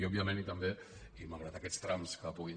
i òbviament i també i malgrat aquests trams que puguin